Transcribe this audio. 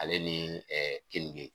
Ale ni keninge.